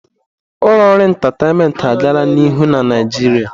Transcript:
Ụlọ ọrụ entataịnmentị agala n'ihu na Naịjirịa.